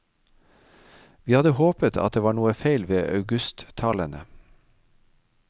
Vi hadde håpet at det var noe feil ved augusttallene.